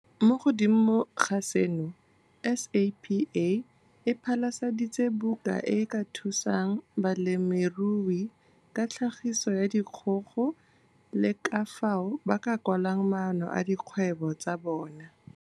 Mo godimo ga seno, SAPA e phasaladitse buka e e ka thusang balemirui ka tlhagiso ya dikgogo le ka fao ba ka kwalang maano a dikgwebo tsa bona.